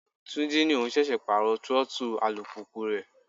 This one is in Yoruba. Túnjí ní òun ṣẹ̀ṣẹ̀ pàrọ throttle alùpùpù rẹ̀.